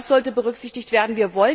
Das sollte berücksichtigt werden.